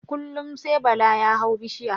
Kullum sai bala ya hau bishiya